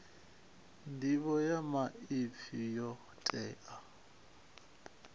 nḓivho ya maipfi yo tea